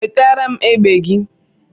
Wetara m egbe gị!